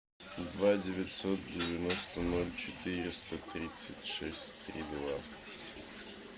два девятьсот девяносто ноль четыреста тридцать шесть три два